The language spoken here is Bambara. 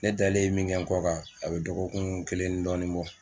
Ne dalen ye min kɛ n kɔ kan a bɛ dɔgɔkun kelen ni dɔɔni bɔ.